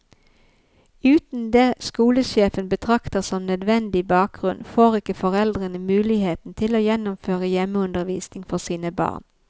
Uten det skolesjefen betrakter som nødvendige bakgrunn, får ikke foreldrene muligheten til å gjennomføre hjemmeundervisning for sine barn.